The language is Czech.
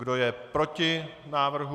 Kdo je proti návrhu?